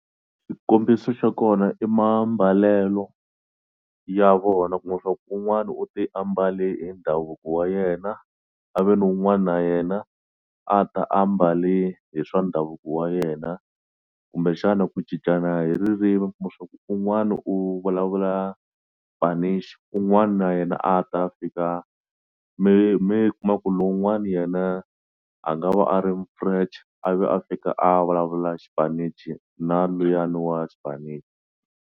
Xikombiso xa kona i mambalelo ya vona kuma swaku un'wani u te ambale e ndhavuko wa yena a ve ni wun'wana na yena a ta ambale hi swa ndhavuko wa yena kumbexana ku cincana hi ririmi kuma swa ku un'wana u vulavula Spanish un'wani na yena a ta fika mi mi kuma ku lowun'wani yena a nga va a ri mu-French a ve a fika a vulavula xipinichi na luyani wa Spanish.